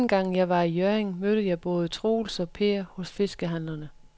Anden gang jeg var i Hjørring, mødte jeg både Troels og Per hos fiskehandlerne.